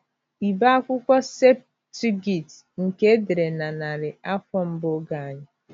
Ibe akwụkwọ “ Septuagint ” nke e dere na narị afọ mbụ Oge Anyị.